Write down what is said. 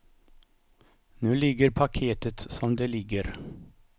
Nu ligger paketet som det ligger.